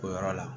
O yɔrɔ la